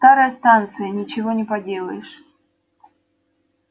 старая станция ничего не поделаешь